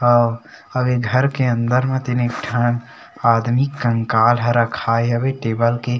काऊ अब ये घर के अंदर में तीन ठन आदमी कंकाल हे रखायल हे टेबल के --